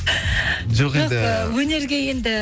жоқ енді өнерге енді